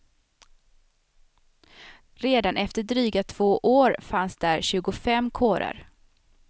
Redan efter dryga två år fanns där tjugofem kårer.